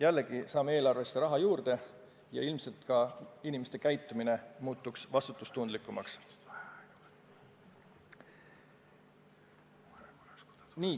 Jällegi, saame eelarvesse raha juurde ja ilmselt ka inimeste käitumine muutuks vastutustundlikumaks.